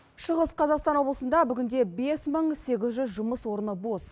шығыс қазақстан облысында бүгінде бес мың сегіз жүз жұмыс орны бос